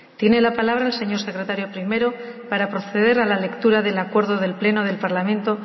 tiene la palabra el señor secretario primero para proceder a la lectura del acuerdo del pleno del parlamento